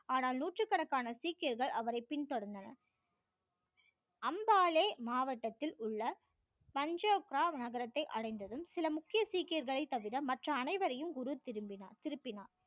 ஆனால் நூற்றுக்கணக்கான சீக்கியர்கள் அவரை பின்தொடர்ந்தனர் அம்பாளே மாவட்டத்தில் உள்ள நகரத்தை அடைந்ததும் சில முக்கிய சீக்கியர்களை தவிர மற்ற அனைவரையும் குரு திருந்தினார் திருப்பினார்